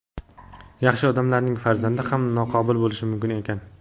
Yaxshi odamlarning farzandi ham noqobil bo‘lishi mumkin ekan.